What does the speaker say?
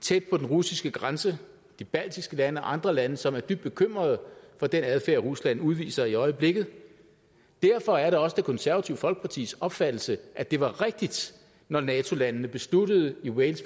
tæt på den russiske grænse de baltiske lande og andre lande som er dybt bekymrede for den adfærd rusland udviser i øjeblikket derfor er det også det konservative folkepartis opfattelse at det var rigtigt når nato landene besluttede i wales